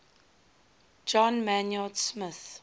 john maynard smith